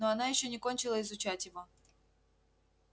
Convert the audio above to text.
ну она ещё не кончила изучать его